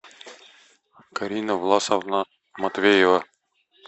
карина власовна матвеева